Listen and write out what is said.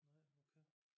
Nej okay